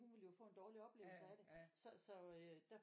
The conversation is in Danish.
Hun ville jo få en dårlig oplevelse af det så så øh der